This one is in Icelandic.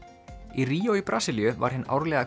í Ríó í Brasilíu var hin árlega